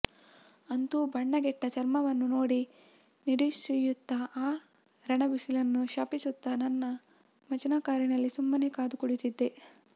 ಅಂತೂ ಬಣ್ಣಗೆಟ್ಟ ಚರ್ಮವನ್ನು ನೋಡಿ ನಿಡುಸುಯ್ಯುತ್ತಾ ಆ ರಣಬಿಸಿಲನ್ನು ಶಪಿಸುತ್ತಾ ನನ್ನ ಮಜ್ದಾ ಕಾರಿನಲ್ಲಿ ಸುಮ್ಮನೆ ಕಾದು ಕುಳಿತಿದ್ದೆ